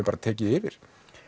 bara tekið yfir